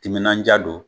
Timinandiya don